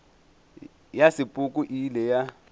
ya sepoko e ile ya